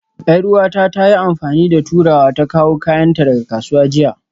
Yar'uwata ta yi amfani da turawa ta kawo kayanta daga kasuwa jiya